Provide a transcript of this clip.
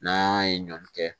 N'an ye ɲɔn kɛ